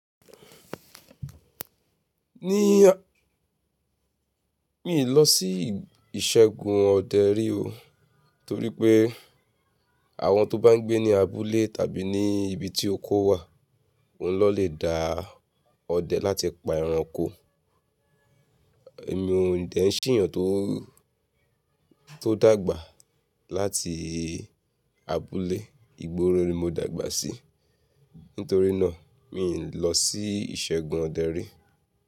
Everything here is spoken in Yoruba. Ní, miì lọ sí ìṣẹgun ọdẹ rí o, torí pé àwọn tó bá ń gbé ní abúlé tàbí ní ibi tí oko wà, oun l'ọ́n lè dá ọdẹ láti pa ẹranko. Èmi ò dẹ̀ ń ṣ'éèyàn tó, tó dàgbà láti abúlé, ìgboro ni mo dàgbà sí, nítorí náà miì lọ sí ìṣẹ́gun ọdẹ rí.